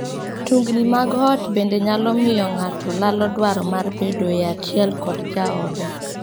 Tungni mag ot bende nyalo miyo ng'ato lalo dwaro mar bedoe achiel kod jaode.